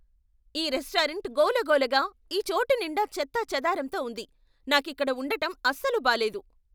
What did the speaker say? ఈ రెస్టారెంట్ గోలగోలగా , ఈ చోటు నిండా చెత్త చేదారంతో ఉంది, నాకిక్కడ ఉండటం అస్సలు బాలేదు.